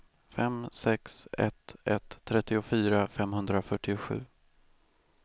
fem sex ett ett trettiofyra femhundrafyrtiosju